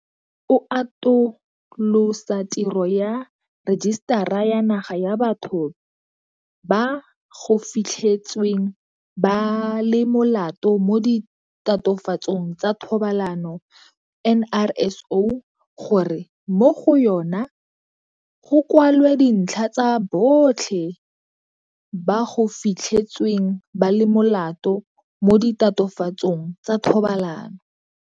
O atolosa tiro ya Rejisetara ya Naga ya Batho ba go Fitlhetsweng ba le Molato mo Ditatofatsong tsa Thobalano, NRSO, gore mo go yona go kwalwe dintlha tsa botlhe ba go fitlhetsweng ba le molato mo ditatofatsong tsa thobalano.